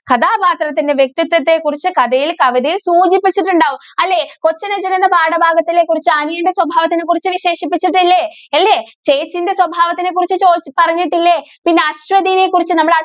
കഥാപാത്രത്തിന്‍റെ വ്യക്തിത്വത്തെ കുറിച്ച് കഥയിൽ, കവിതയിൽ സൂചിപ്പിചിട്ടുണ്ടാവും. അല്ലേ. കൊച്ചനുജന്‍ എന്ന പാഠഭാഗത്തിനെ കുറിച്ച് അനിയന്റെ സ്വഭാവത്തിനെ കുറിച്ച് വിശേഷിപ്പിച്ചിട്ടില്ലേ? ഇല്ലേ? ചേച്ചീന്റെ സ്വഭാവത്തിനെക്കുറിച്ച് ചോദിച്ച് പറഞ്ഞിട്ടില്ലേ? പിന്നെ അശ്വതീനെ കുറിച്ച് നമ്മള്